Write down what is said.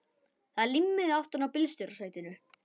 Það er límmiði aftan á bílstjórasætinu.